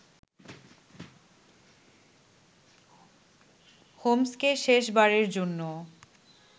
হোম্স্কে শেষ বারের জন্য